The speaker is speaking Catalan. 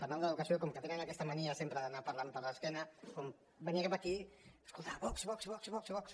parlant d’educació com que tenen aquesta mania sempre d’anar parlant per l’esquena quan venia cap aquí escoltava vox vox vox vox vox